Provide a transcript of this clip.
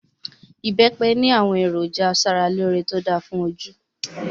ibepe ni awon eroja asaraloore to da fun oju